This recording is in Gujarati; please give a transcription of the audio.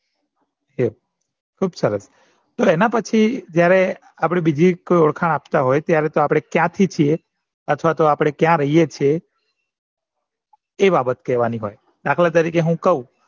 ખુબ સરસ પણ એના પછી જયારે બીજી કોઈ ઓળખાણ આપતા હોય ત્યારે તો ક્યાંથી છીએ અથવા તો આપણે ક્યાં રહીએ છીએ એ બાબત કેવાની હોય દાખલા તરીકે હું કવ